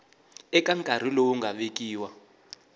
eka nkarhi lowu nga vekiwa